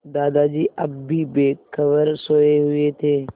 दादाजी अब भी बेखबर सोये हुए थे